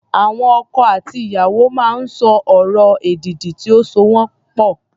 Àwọn ọkọ àti ìyàwó máa ń sọ ọ̀rọ̀ èdìdì tí ó so wọ́n pọ̀.